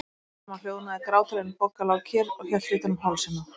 Smám saman hljóðnaði gráturinn, en Bogga lá kyrr og hélt utan um hálsinn á